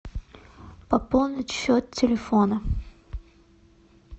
пополнить счет телефона